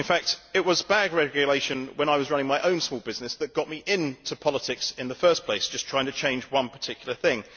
In fact, it was bad regulation when I was running my own small business that got me into politics in the first place just trying to change one particular thing.